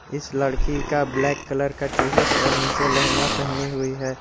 इस लड़की का ब्लैक कलर का टी शर्ट और नीचे लहंगा पहनी हुई है।